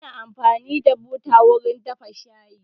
Ana amfani da buta wurin dafa shayi